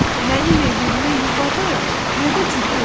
Mənim evim nə yuvadır, nə də cüxür.